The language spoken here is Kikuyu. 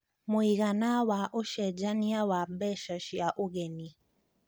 mũigana wa ũcenjanĩa wa mbeca cĩa ũgeni